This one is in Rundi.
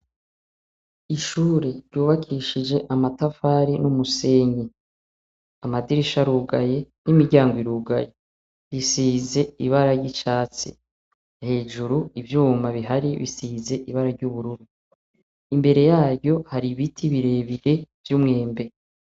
Ishure ryubakishije amatafari n'umusenyi. Amadirisha arugaye n'imiryango irugaye. Bisize ibara ry'icatsi. Hejuru ivyuma bihari bisize ibara ry'ubururu. Imbere yaryo hari ibiti birebire vy'umwembe.